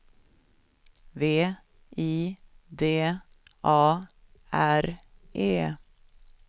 V I D A R E